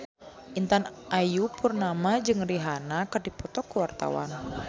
Intan Ayu Purnama jeung Rihanna keur dipoto ku wartawan